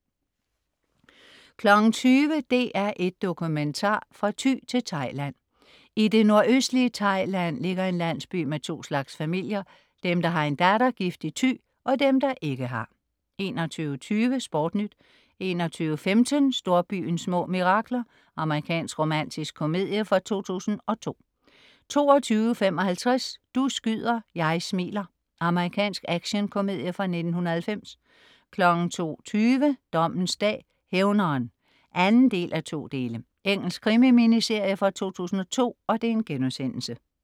20.00 DR1 dokumentar. Fra Thy til Thailand. I det nordøstlige Thailand ligger en landsby med to slags familier. Dem, der har en datter gift i Thy, og dem, der ikke har 21.10 SportNyt 21.15 Storbyens små mirakler. Amerikansk romantisk komedie fra 2002 22.55 Du skyder, jeg smiler. Amerikansk actionkomedie fra 1990 02.20 Dommens dag: Hævneren (2:2). Engelsk krimi-miniserie fra 2002*